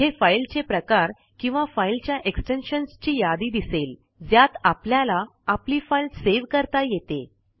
इथे फाईलचे प्रकार किंवा फाईलच्या एक्सटेन्शनची यादी दिसेल ज्यात आपल्याला आपली फाईल सेव्ह करता येते